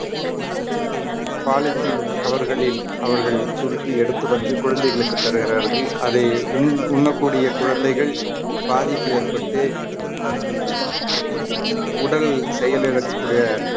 polythene cover களில் அவர்கள் சுருட்டி எடுத்து வந்து குழந்தைகளுக்கு தருகிறார்கள் அதை உண்~ உண்ணக்கூடிய குழந்தைகள் பாதிப்பு ஏற்பட்டு உடல் செயலிழக்கக் கூடிய